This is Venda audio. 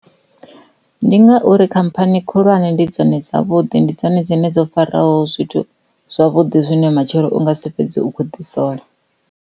Ndi ngauri khamphani khulwane ndi dzone dza vhuḓi ndi dzone dzo faraho zwithu zwavhuḓi zwine matshelo unga si fhedzi u kho ḓi sola.